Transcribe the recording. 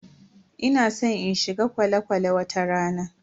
Ina san in shiga kwale-kwale wata rana.